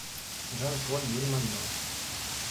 жан поль бельмондо